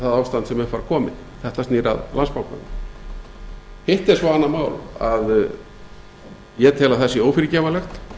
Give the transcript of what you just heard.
ástand sem upp var komið þetta snýr að landsbankanum hitt er svo annað mál að ég tel að það sé ófyrirgefanlegt